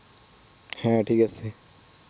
হ্যাঁ ঠিক আছে